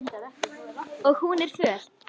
Og hún er föl.